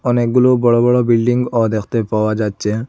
অনেকগুলো বড়ো বড়ো বিল্ডিংও দেখতে পাওয়া যাচ্ছে।